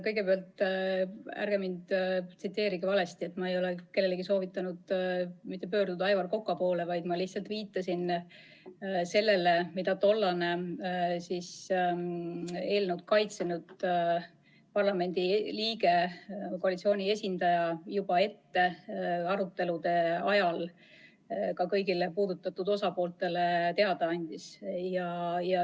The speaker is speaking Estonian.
Kõigepealt, ärge tsiteerige mind valesti, ma ei ole kellelgi soovitanud pöörduda Aivar Koka poole, vaid ma lihtsalt viitasin sellele, mida tollane eelnõu kaitsnud parlamendiliige, koalitsiooni esindaja arutelude ajal kõigile puudutatud osapooltele juba ette teada andis.